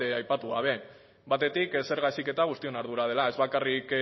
aipatu gabe batetik zerga heziketa guztion ardura dela ez bakarrik